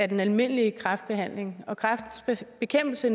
den almindelige kræftbehandling og kræftens bekæmpelse